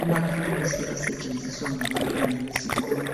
Amathulusi asetshenziswa ngabantwana besikolo